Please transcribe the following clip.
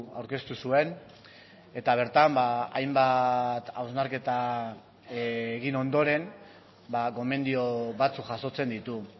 aurkeztu zuen eta bertan hainbat hausnarketa egin ondoren gomendio batzuk jasotzen ditu